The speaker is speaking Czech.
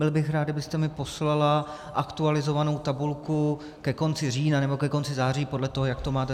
Byl bych rád, kdybyste mi poslala aktualizovanou tabulku ke konci října, nebo ke konci září, podle toho, jak to máte.